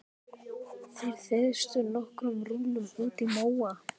Þeir þeystu nokkrum rúllum útí móa.